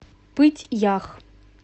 пыть ях